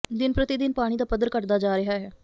ਦਿਨ ਪ੍ਰਤੀ ਦਿਨ ਪਾਣੀ ਦਾ ਪੱਧਰ ਘੱਟਦਾ ਜਾ ਰਿਹਾ ਹੈ